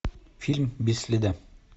фильм без следа